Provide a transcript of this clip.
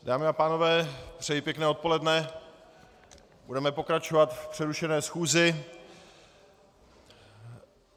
Dámy a pánové, přeji pěkné odpoledne, budeme pokračovat v přerušené schůzi.